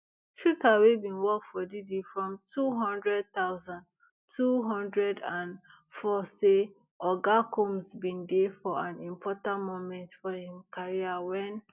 shuter wey bin work for diddy from two hundred thousand, two hundred and four say oga combs bin dey for an important moment for im career wen